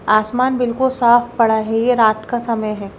आसमान बिल्कुल साफ पड़ा है ये रात का समय है।